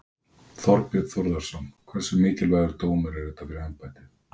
Þorbjörn Þórðarson: Hversu mikilvægur dómur er þetta fyrir embættið?